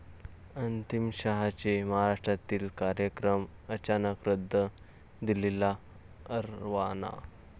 अमित शहांचे महाराष्ट्रातील कार्यक्रम अचानक रद्द, दिल्लीला रवाना